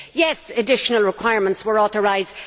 Yes, additional requirements were authorised